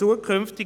Nein.